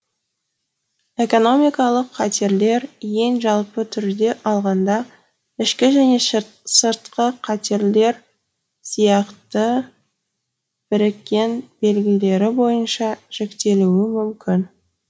экономикалық қатерлер ең жалпы түрде алғанда ішкі және сыртқы қатерлер сиякты біріккен белгілері бойынша жіктелуі мүмкін